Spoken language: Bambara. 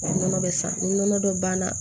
Nɔnɔ bɛ sa ni nɔnɔ dɔ banna